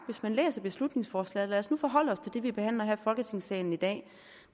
hvis man læser beslutningsforslaget og lad os nu forholde os til det vi behandler her i folketingssalen i dag